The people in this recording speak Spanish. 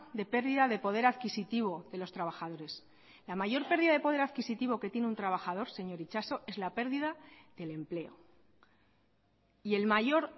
de pérdida de poder adquisitivo de los trabajadores la mayor pérdida de poder adquisitivo que tiene un trabajador señor itxaso es la pérdida del empleo y el mayor